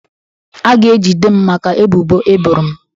A ga-ejide m maka ebubo e boro m.